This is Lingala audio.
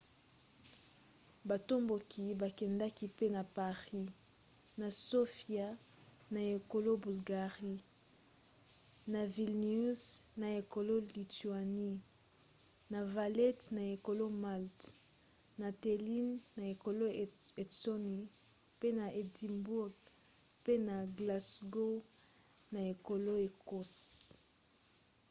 batomboki bakendaki pe na paris na sofia na ekolo bulgarie na vilnius na ekolo lituanie na valette na ekolo malte na tallinn na ekolo estonie pe na édimbourg pe na glasgow na ekolo écosse